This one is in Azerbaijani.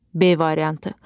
B variantı.